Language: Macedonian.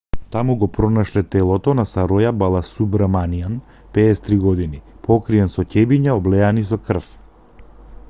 таму го пронашле телото на сароја баласубраманиан 53 години покриен со ќебиња облеани со крв